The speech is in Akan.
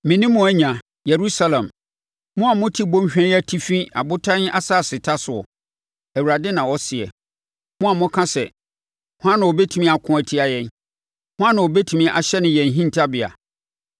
Me ne mo anya, Yerusalem Mo a mote bɔnhwa yi atifi abotan asaseta soɔ, Awurade na ɔseɛ, mo a moka sɛ, “Hwan na ɔbɛtumi ako atia yɛn? Hwan na ɔbɛtumi ahyɛne yɛn hintabea?”